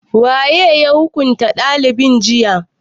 Waye ya hukunta dalibin jiya?